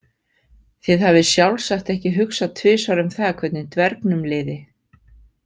Þið hafið sjálfsagt ekki hugsað tvisvar um það hvernig dvergnum liði?